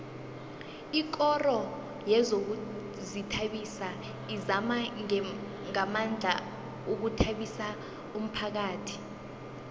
ikoro yezokuzithabisa izama ngamandla ukuthabisa umphakhathi